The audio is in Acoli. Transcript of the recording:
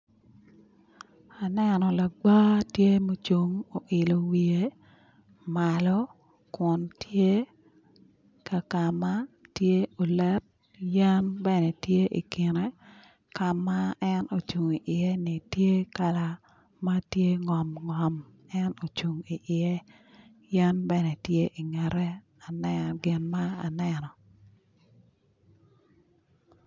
Aneno lagwa tye mucung oilo wiye malo kun tye ka kama tye olet yen bene tye ikine ka ma en ocung iye ni tye ka ma tye ngom ngom en ocung iye yen bene tye ingette aneno gin ma aneno